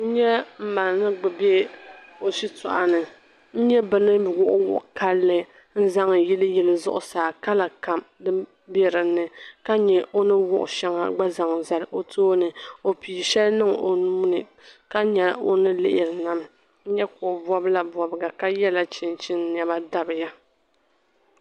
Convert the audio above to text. N nyɛ n ma ni be ɔ shi tɔɣini, n nyɛ bi ni wuɣi wuɣi kanli. n zaŋ yili yili. zuɣu saa ka la kam be dini. ka nyɛ ɔni wuɣi shɛŋa nzaŋ zali ɔ tɔɔni. ɔ pii shɛli ni niŋ ɔ nuuni, ka nya ɔ ni lihirinami, n nyɛ ka ɔbɔbila bɔbiga ka yela chinchini nema n dabiya